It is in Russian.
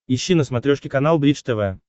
ищи на смотрешке канал бридж тв